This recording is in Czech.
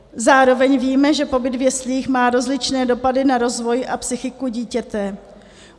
Zároveň víme, že pobyt v jeslích má rozličné dopady na rozvoj a psychiku dítěte.